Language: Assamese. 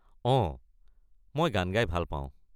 অঁ, মই গান গাই ভাল পাওঁ।